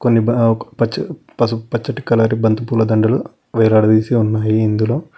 ఇక్కడ ఒక పచ్చ పసుపు పచ్చటి కలర్ బంతిపూల దండలు వేలాడదీసి ఉన్నాయి ఇందులో.